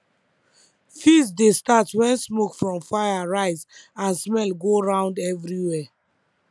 feast dey start when smoke from fire rise and smell go round everywhere